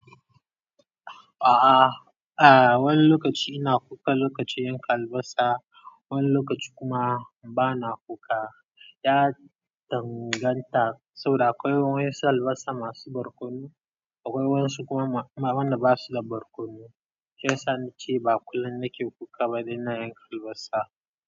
A'a, a, wani lokaci ina kuka lokacin yanka albasa wani lokaci kuma bana kuka. Ya danganta saboda akwai waƴƴansu albasa masu barkono, akwai wasu kuma wanda basu da barkono. Shi yasa na ce ba kullum nake kuka bayan na yanka albasa.